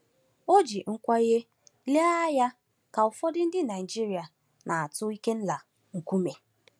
O ji nkwenye lee anya ka ụfọdụ ndị Naịjiria na-atụ Ikenna nkume.